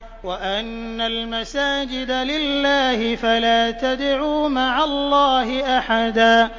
وَأَنَّ الْمَسَاجِدَ لِلَّهِ فَلَا تَدْعُوا مَعَ اللَّهِ أَحَدًا